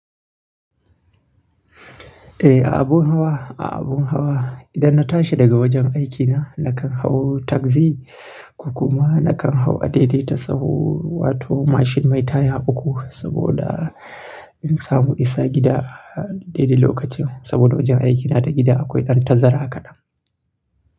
Eh, a abun hawa, a abun hawa. Idan na tashi daga wajen aikina nakan hau tagzi ko kuma nakan hau a daidaita sahu wato mashin mai taya uku saboda in samu isa gida daidai lokacin. Saboda wajen aikina da gida akwai ɗan tazara kaɗan.